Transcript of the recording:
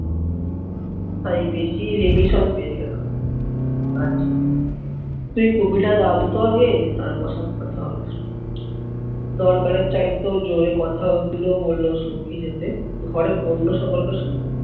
তাই বেশি পেয়ে গেলাম। আচ্ছা, তুই তো আগে তারপর সব কথা হবে। দরকারের চাইতেও জোরে কথা গুলো বললো সৌখী যাতে ঘরের অন্য সকলকে শুনতে